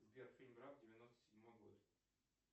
сбер фильм граф девяносто седьмой год